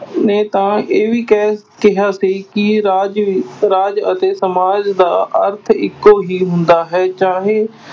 ਨੇ ਤਾਂ ਇਹ ਕਹਿ ਕਿਹਾ ਸੀ ਕਿ ਰਾਜ ਵਿ ਰਾਜ ਅਤੇ ਸਮਾਜ ਦਾ ਅਰਥ ਇਕੋ ਹੀ ਹੁੰਦਾ ਹੈ, ਚਾਹੇ